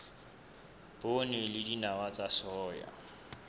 poone le dinawa tsa soya